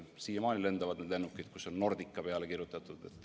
Siiamaani lendavad lennukid, millele on Nordica peale kirjutatud.